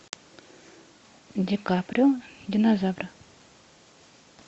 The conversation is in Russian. ди каприо динозавры